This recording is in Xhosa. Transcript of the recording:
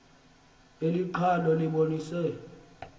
eli qhalo libonisa